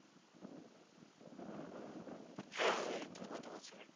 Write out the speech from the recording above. হ্যাঁ, ঐতো গতবছরেই